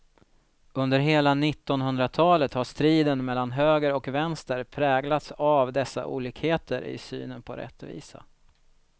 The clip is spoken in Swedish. Under hela nittonhundratalet har striden mellan höger och vänster präglats av dessa olikheter i synen på rättvisa.